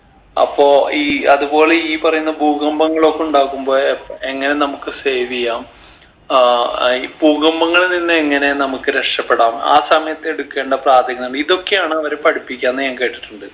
അപ്പോ ഈ അതുപോലെ ഈ പറയുന്ന ഭൂകമ്പങ്ങൾ ഒക്കെ ഇണ്ടാക്കുമ്പോ എ എങ്ങനെ നമ്മക്ക് save യ്യാം ആഹ് ഈ ഭൂകമ്പങ്ങളിൽ നിന്ന് എങ്ങനെ നമ്മക്ക് രക്ഷപ്പെടാം ആ സമയത്ത് എടുക്കേണ്ട പ്രാഥമിക ഇതൊക്കെയാണ് അവര് പഠിപ്പിക്കുക എന്ന് ഞാൻ കേട്ടിട്ടുണ്ട്